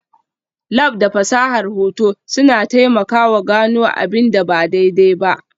Lab da fasahar hoto suna taimakawa gano abin da ba daidai ba.